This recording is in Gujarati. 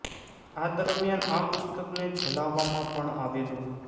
આ દરમિયાન આ પુસ્તક ને જલાવામાં પણ આવેલુ